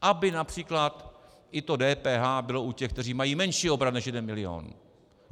Aby například i to DPH bylo u těch, kteří mají menší obrat než jeden milion.